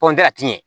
a ti ɲɛ